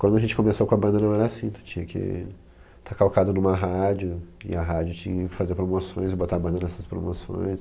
Quando a gente começou com a banda não era assim, tu tinha que estar calcado numa rádio e a rádio tinha que fazer promoções e botar a banda nessas promoções.